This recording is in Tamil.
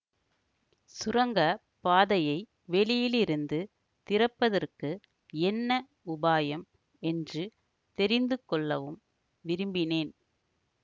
சுரங்க பாதையை வெளியிலிருந்து திறப்பதற்கு என்ன உபாயம் என்று தெரிந்து கொள்ளவும் விரும்பினேன்